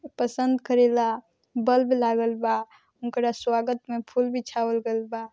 पसंद करेला बल्ब लागल बा ओकरा स्वागत में फूल बीछावल गइल बा।